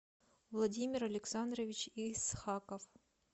владимир александрович исхаков